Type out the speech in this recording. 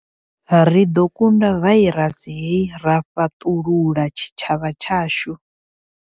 Ri ḓo kunda vairasi hei ra fhaṱulula tshitshavha tshashu.